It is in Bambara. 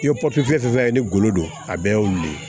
I ye papiye sɔrɔ sisan i bɛ golo don a bɛɛ y'o de ye